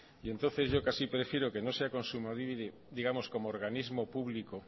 última entonces yo casi prefiero que no sea kontsumobide digamos como organismo público